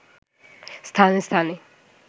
স্থানে স্থানে